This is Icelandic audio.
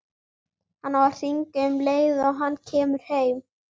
Hann á að hringja um leið og hann kemur heim.